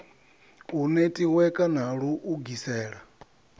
u netiweka na lu ugisela